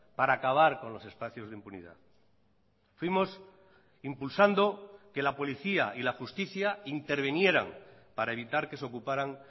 para acabar con los espacios de impunidad fuimos impulsando que la policía y la justicia intervinieran para evitar que se ocuparan